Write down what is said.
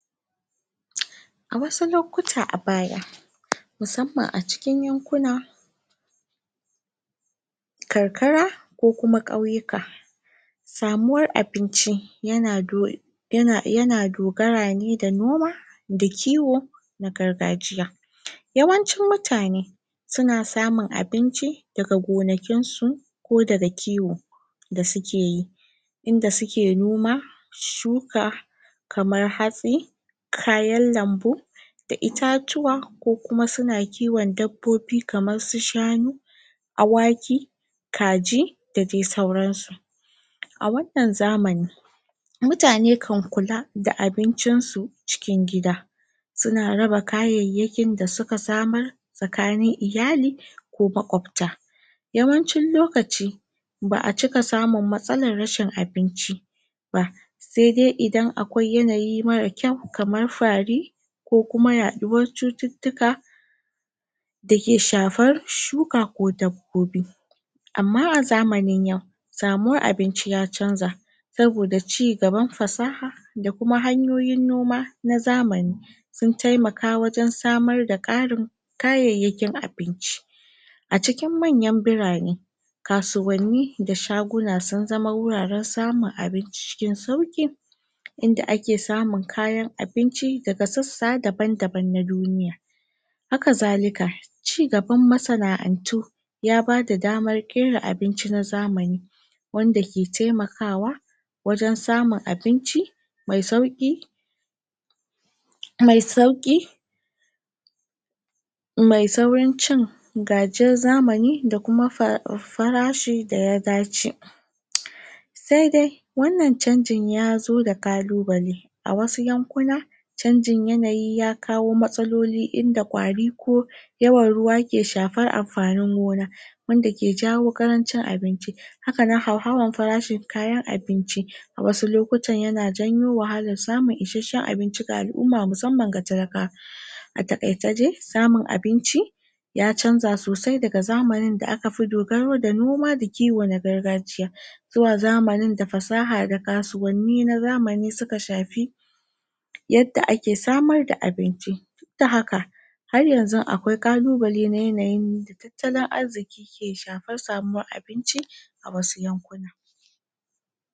A wasu lokuta a baya musamman a yankunan karkara ko kuma ƙauyuka samuwar abinci yana dogara ne da noma da kiwo na gargajiya yawancin mutane suna samun abinci ne daga gonakinsu ko daga kiwon da sukeyi inda suke noma shuka kamar hatsi, kayan lambu da itatuwa ko Kuma suna kiwon dabbobi kamar su shanu awaki kaji da dai sauransu a wannan zamani mutane kan kula da abincinsu cikin gida suna raba kayayyakinda suka samar tsakanin iyali ko maƙwabta yawancin lokaci baʼa cika samun matsalan rashin abinci ba ba saidai in akwai yanayi mara kyau kamar fa ri ko Kuma yaɗuwar cututtuka dake shafar shuka ko dabbobi Amma a zamanin yau samuwar abinci ya canza saboda cigaban fasaha da Kuma hanyoyin noma na zamani sun taimaka wajen samarda karin kayayyakin abinci a cikin mayan birane kasuwanni da shaguna sun zama wuraren samun abinci cikin sauki inda ake samun kayan abinci daga sassa daban daban na duniya haka zalika cigaban masanaʼantu ya bada damar kera abinci na zamani wanda ke taimakawa wajen samar da abinci mai sauƙi mai saurin cin gajiyar zamani da Kuma farashin da ya dace saidai wannan canjin ya zo da kalubale a wasu yankuna canjin yanayi ya kawo matsaloli inda kwari ko yawan ruwa ke shafar anfanin gona wanda ke jawo ƙarancin abinci hakanan hauhawan farashin kayan abinci a wasu lokutan yana janyo wahalar samun isasshen abinci ga alʼumma musamman ga talakawa a taƙaice dai samun abinci ya canza sosai daga zamaninda akafi dogaro da noma da kiwo na gargajiya zuwa zamaninda fasaha da kasuwanni na zamani suka shafi yadda ake samar da abinci duk da haka haryanzu akwai ƙalubale na yanayin tattalin arziki ke shafar samuwan abincin wasu yankuna.